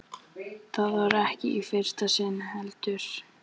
Það var ekki í fyrsta sinn, heldur.